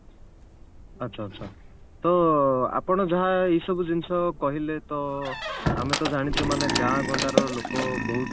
ଆଚ୍ଛା ଆଚ୍ଛା ତ ଆପଣ ଯାହା ଏଇସବୁ ଜିନିଷ କହିଲେ ତ ଆମେ ତ ଜାଣିଛେ ମାନେ ଗାଁ ଗଣ୍ଡାର ଲୋକ ବହୁତ